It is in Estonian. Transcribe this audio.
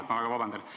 Vabandust!